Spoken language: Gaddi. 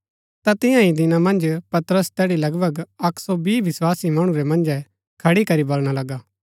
ता तियां ही दिना मन्ज पतरस तैड़ी लगभग अक्क सो बीह विस्वासी मणु रै मन्जै खड़ी करी बलणा लगा